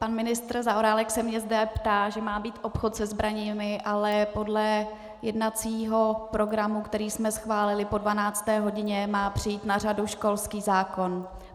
Pan ministr Zaorálek se mě zde ptá, že má být obchod se zbraněmi, ale podle jednacího programu, který jsme schválili, po 12. hodině má přijít na řadu školský zákon.